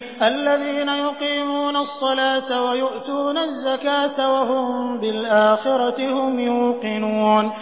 الَّذِينَ يُقِيمُونَ الصَّلَاةَ وَيُؤْتُونَ الزَّكَاةَ وَهُم بِالْآخِرَةِ هُمْ يُوقِنُونَ